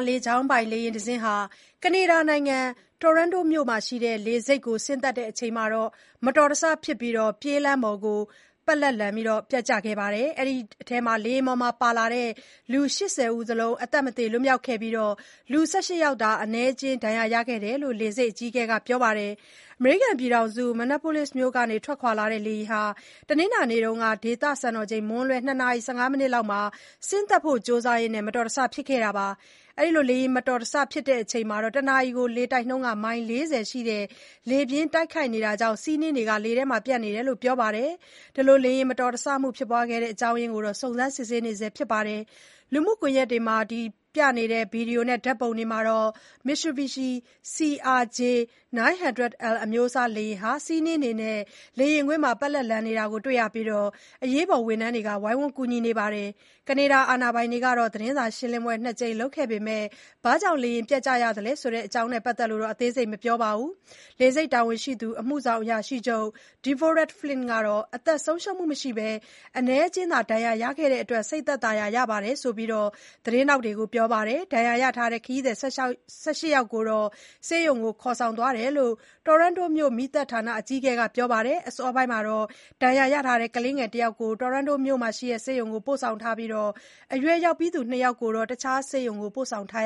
လေကြောင်းပိုင် လေယာဉ်တစင်းဟာ ကနေဒါနိုင်ငံ Toronto မြို့ရှိလေဆိပ်ကို ဆင်းသက်စဉ် မတော်တဆဖြစ်ပြီး ပြေးလမ်းပေါ်ကို ပက်လက်ပျက်ကျခဲ့ရာက လူ ၁၈ ယောက် ဒဏ်ရာရသွားပါတယ်။ လေယာဉ်ပေါ်မှာ လိုက်ပါလာတဲ့ လူ ၈၀ စလုံး အသက်မသေလွတ်မြောက်ခဲ့ပြီး လူ ၁၈ ယောက်သာ အနည်းအကျဉ်း ဒဏ်ရာရခဲ့တယ်လို့လည်း လေဆိပ်အကြီးအကဲက ပြောပါတယ်။ အမေရိကန်နိုင်ငံ Minneapolis မြို့ကထွက်ခွာလာတဲ့လေယာဉ်ဟာ တနင်္လာနေ့က ဒေသစံတော်ချိန် မွန်းလွဲ ၂ နာရီ ၁၅ မိနစ်လောက်မှာ ဆင်းသက်ဖို့ကြိုစားရင်း မတော်တဆမှုဖြစ်ခဲ့တာပါ။ လေယာဉ်မတော်တဆဖြစ်ချိန်မှာ တနာရီလေတိုက်နှုန်း မိုင် ၄၀ ရှိတဲ့ လေပြင်းတိုက်ခတ်နေတာကြောင့် ဆီးနှင်းတွေလည်း လေထဲမှာပျံ့နေတယ်လို့ ပြောပါတယ်။ လေယာဉ်မတော်တဆမှုဖြစ်စေတဲ့ အကြောင်းရင်းကိုတော့ စုံစမ်းစစ်ဆေးနေဆဲဖြစ်ပါတယ်။ လူမှုကွန်ယက်က ဗွီဒီယိုနဲ့ ဓာတ်ပုံတွေမှာတော့ Mitsubishi CRJ-900L အမျိုးအစား လေယာဉ်ဟာ ဆီးနှင်းတွေနဲ့ လေယာဉ်ကွင်းမှာ ပက်လက်လန်နေတာတွေ့ရပြီး အရေးပေါ် ဝန်ထမ်းတွေ ဝိုင်းဝန်း ကူညီနေတာ တွေ့ရပါတယ်။ ကနေဒါအာဏာပိုင်တွေက သတင်းစာရှင်းလင်းပွဲနှစ်ကြိမ်လုပ်ခဲ့ပေမဲ့ လေယာဉ်ပျက်ကျတဲ့အကြောင်း အသေးစိတ်တော့ မပြောပါဘူး။ လေဆိပ်တာဝန်ရှိသူ အမှုဆောင်အရာရှိချုပ် Deborah Flint ကတော့ အသက်ဆုံးရှုံးမှုမရှိဘဲ အနည်းအကျဉ်းသာ ဒဏ်ရာရခဲ့တာကြောင့် စိတ်သက်သာရာရတဲ့အကြောင်း သတင်းထောက်တွေကို ပြောပါတယ်။ ဒဏ်ရာရထားတဲ့ ခရီးသည် ၁၈ ယောက်ကို ဆေးရုံကို ခေါ်ဆောင်သွားတယ်လို့လည်း Toronto မြို့ မီးသတ်ဌာန အကြီးအကဲဖြစ်သူ Todd Aitken က ပြောပါတယ်။ အစောပိုင်းကတော့ ဒဏ်ရာရထားတဲ့ ကလေး တယောက်ကို Toronto မြို့ရှိ SickKids ဆေးရုံကိုပို့ထားပြီး အရွယ်ရောက်ပြီးသူ နှစ်ယောက်ကိုတော့ အခြားဆေးရုံကို ပို့ဆောင်ထား